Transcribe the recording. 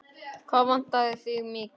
Hvað vantar þig mikið?